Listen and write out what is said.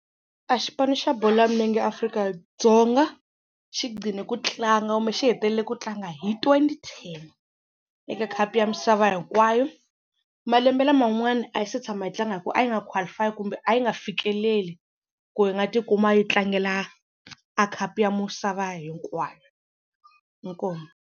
A xipano xa bolo ya milenge Afrika-Dzonga xi gqine ku tlanga kumbe xi hetelele ku tlanga hi twenty ten eka khapu ya misava hinkwayo. Malembe laman'wana a yi se tshama yi tlanga hi ku a yi nga qualify kumbe a yi nga fikeleli ku yi nga tikuma yi tlangela a khapu ya misava hinkwayo, inkomu.